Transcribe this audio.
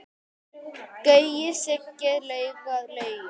Gaui, Siggi, Lauga, Laugi.